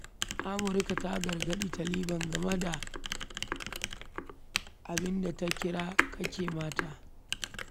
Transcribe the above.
Amurka ta gargaɗi Taliban game da abinda ta kira 'take haƙƙin mata.'